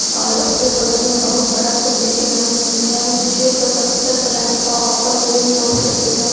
और ओकरे बगल में बोहोत बड़ा सा बिल्डिंग है बिल्डिंगइयाँ में छः सौ सत्तर का ऑफर होम लोन का देत ह।